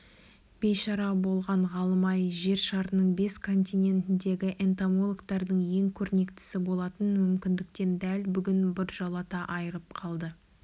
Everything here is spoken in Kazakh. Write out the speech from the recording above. бейшара болған ғалым-ай жер шарының бес континентіндегі энтомологтардың ең көрнектісі болатын мүмкіндіктен дәл бүгін біржола айрылып қалды